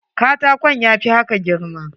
Katakon ya fi haka girma.